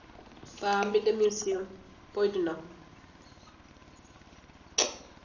പാമ്പിൻ്റെ museum പോയിട്ടുണ്ടോ